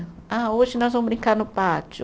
Ah, hoje nós vamos brincar no pátio.